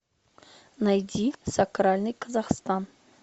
найди сакральный казахстан